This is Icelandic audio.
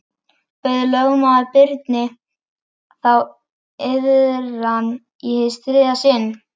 Bauð lögmaður Birni þá iðran í hið þriðja sinn.